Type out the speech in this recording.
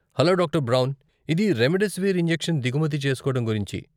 Hello doctor Brown. ఇది remdesivir injection దిగుమతి చేస్కోడం గురించి.